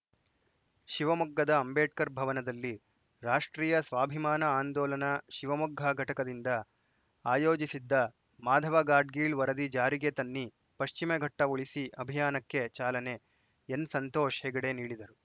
ಶಿವಮೊಗ್ಗದ ಅಂಬೇಡ್ಕರ್‌ ಭವನದಲ್ಲಿ ರಾಷ್ಟ್ರೀಯ ಸ್ವಾಭಿಮಾನ ಆಂದೋಲನ ಶಿವಮೊಗ್ಗ ಘಟಕದಿಂದ ಆಯೋಜಿಸಿದ್ದ ಮಾಧವ ಗಾಡ್ಗೀಳ್‌ ವರದಿ ಜಾರಿಗೆ ತನ್ನಿ ಪಶ್ಚಿಮಘಟ್ಟಉಳಿಸಿ ಅಭಿಯಾನಕ್ಕೆ ಚಾಲನೆ ಎನ್‌ ಸಂತೋಷ್‌ ಹೆಗಡೆ ನೀಡಿದರು